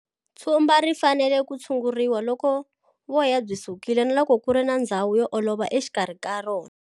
Tshumba ri fanele ku tshunguriwa loko voya byi sukile na loko ku ri na ndzhawu yo olova exikarhi ka rona.